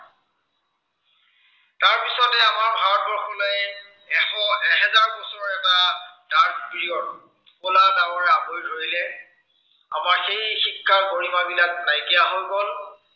এশ, এহেজাৰ বছৰৰ এটা dark period, কলা ডাৱৰে আৱৰি ধৰিলে। আমাৰ সেই শিক্ষাৰ গৰিমাবিলাক নাইকিয়া হৈ গল।